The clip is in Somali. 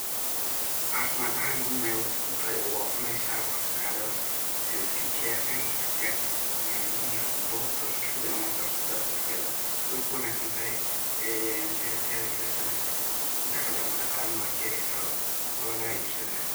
Cafimad ahan muhim ayay kutahay waa cuneysa waa afacadadha, sidhi skin keyarka, jirka hilibka barurta oo liska ridayo ama hada lisku darayo laftirkeda, sidha tedha kale taqli ama daqala wad kaheleysa wawa laga ibsana.